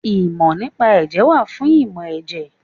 Ìmọ̀ nípa Ẹ̀jẹ̀ wà fún ìmọ̀ ẹ̀jẹ̀.